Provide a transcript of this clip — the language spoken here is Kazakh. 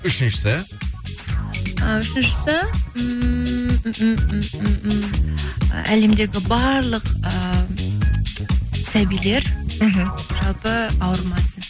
үшіншісі і үшіншісі ммм әлемдегі барлық ыыы сәбилер мхм жалпы ауырмасын